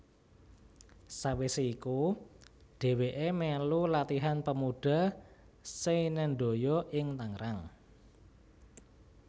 Sawise iku dheweke melu Latihan Pemuda Seinendoyo ing Tangerang